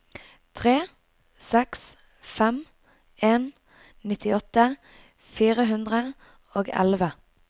tre seks fem en nittiåtte fire hundre og elleve